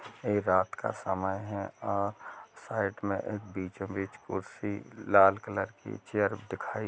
ये रात का समय है और साइड में एक बीचो-बीच कुर्सी लाल कलर की चेयर दिखाई--